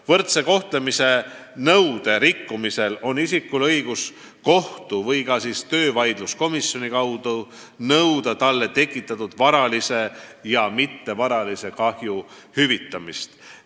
Võrdse kohtlemise nõude rikkumisel on inimesel õigus kohtu või töövaidluskomisjoni kaudu nõuda talle tekitatud varalise ja mittevaralise kahju hüvitamist.